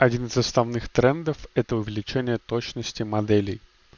один из основных трендов этого увеличение точности моделей